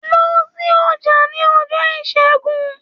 Lọ sí ọjà ní ọjọ́ Ìṣẹ́gun.